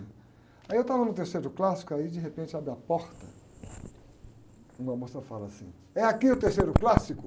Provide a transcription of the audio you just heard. Aí eu estava no terceiro clássico, aí de repente abre a porta, uma moça fala assim, é aqui o terceiro clássico?